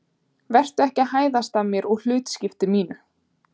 Vertu ekki að hæðast að mér og hlutskipti mínu.